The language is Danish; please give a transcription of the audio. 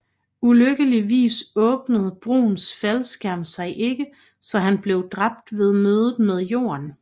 Ulykkeligvis åbnede Bruhns faldskærm sig ikke så han blev dræbt ved mødet med jorden